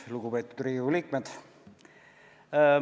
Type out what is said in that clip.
Lugupeetud Riigikogu liikmed!